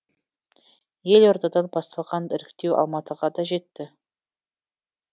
елордадан басталған іріктеу алматыға да жетті